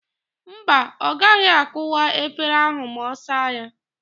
Mba, ọ gaghị akụwa efere ahụ ma ọ saa ya.